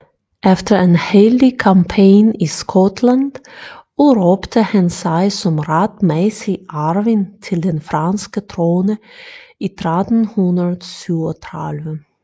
Efter en heldig kampagne i Skotland udråbte han sig som retmæssig arving til den franske trone i 1337